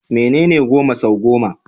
Menene goma sau goma?